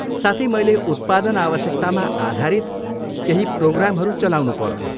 साथै, मैले उत्पादन आवश्यकतामा आधारित केही प्रोग्रामहरू चलाउनु पर्थ्यो।